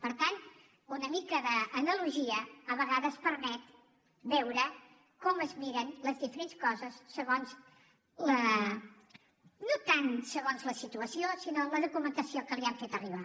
per tant una mica d’analogia a vegades permet veure com es miren les diferents coses segons no tant la situació sinó la documentació que li han fet arribar